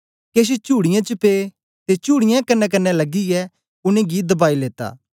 केछ चुड़ीयें च पे ते चुड़ीयें कन्नेकन्ने लगियै उनेंगी दबाई लेत्ता